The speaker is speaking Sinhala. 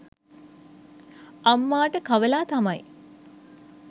අම්මාට කවලා තමයි